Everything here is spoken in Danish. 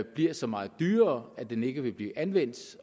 bliver så meget dyrere at den ikke vil blive anvendt